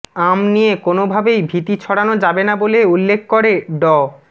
আম নিয়ে কোনোভাবেই ভীতি ছড়ানো যাবে না বলে উল্লেখ করে ড